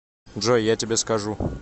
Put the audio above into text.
джой я тебе скажу